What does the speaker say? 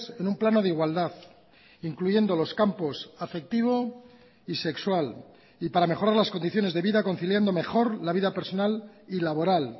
en un plano de igualdad incluyendo los campos afectivo y sexual y para mejorar las condiciones de vida conciliando mejor la vida personal y laboral